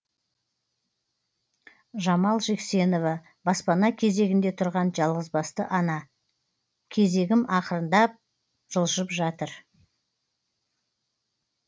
жамал жексенова баспана кезегінде тұрған жалғызбасты ана кезегім ақырын жылжып жатыр